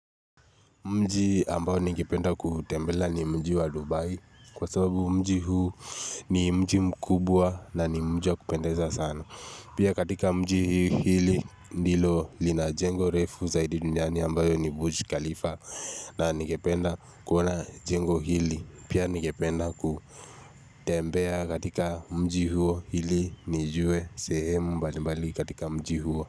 Mji ambao ningependa kutembelea ni mji wa Dubai kwa sababu mji huu ni mji mkubwa na ni mji wa kupendeza sana. Pia katika mji huu ndio unajengo refu zaidi duniani ambalo ni Burj Khalifa na nigependa kuona jengo hili. Pia ningependa kutembea katika mji huo hili nijue sehemu mbalimbali katika mji huo.